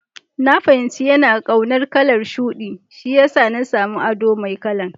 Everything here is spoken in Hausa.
Na fahimci yana kaunar kalan shuɗi, shiyasa na samu abu Mai kalan.